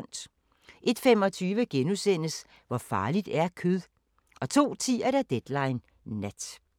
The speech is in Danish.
01:25: Hvor farligt er kød? * 02:10: Deadline Nat